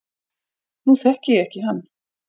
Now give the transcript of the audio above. Nú þekki ég ekki hann